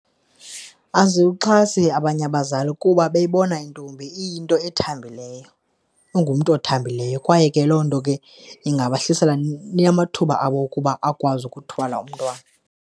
Aziwuxhasi abanye abazali kuba bebona intombi iyinto ethambileyo, ingumntu othambileyo kwaye ke loo nto ke ingabahlisela amathuba abo ukuba akwazi ukuthwala umntwana.